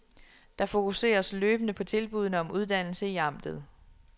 Der fokuseres løbende på tilbuddene om uddannelse i amtet.